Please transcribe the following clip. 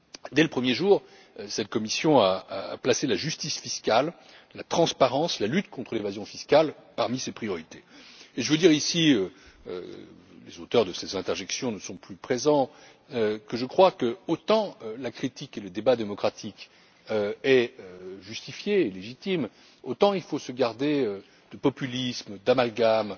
Dès le premier jour, cette Commission a placé la justice fiscale, la transparence, la lutte contre l'évasion fiscale parmi ses priorités, et je veux dire ici les auteurs de ces interjections ne sont plus présents que je crois que, autant la critique et le débat démocratique sont justifiés et légitimes, autant il faut se garder de populisme, d'amalgames